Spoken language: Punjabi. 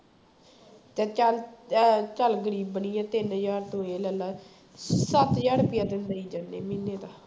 ਤੇ ਚੱਲ ਅਹ ਚੱਲ ਗ਼ਰੀਬਣੀ ਹੈ ਤਿੰਨ ਹਜ਼ਾਰ ਤੂੰ ਇਹ ਲੈ ਲਾ ਸੱਤ ਹਜ਼ਾਰ ਰੁਪਈਆ ਤੈਨੂੰ ਦੇਈ ਜਾਨੇ ਮਹੀਨੇ ਦਾ